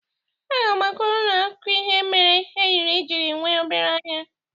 Aga m akọrọ ụnụ ifo ihe mere enyi jiri nwe obere anya.